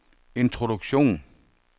introduktion